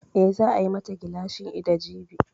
Eh, za a yi ma ta gilashin ido jibi